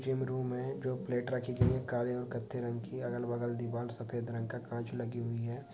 Gym room में जो plate रखी गई है काले और कत्थाई रंग की अगल-बगल दीवार सफ़ेद रंग का कांच लगी हुई है।